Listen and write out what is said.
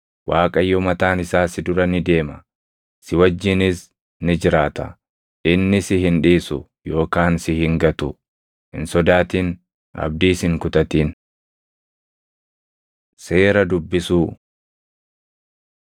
Waaqayyo mataan isaa si dura ni deema; si wajjinis ni jiraata; inni si hin dhiisu yookaan si hin gatu. Hin sodaatin; abdiis hin kutatin.” Seera Dubbisuu